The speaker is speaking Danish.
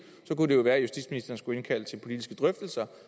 være at justitsministeren skulle indkalde til politiske drøftelser